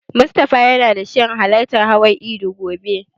Mustafa yana shirin halartar hawan idi gobe.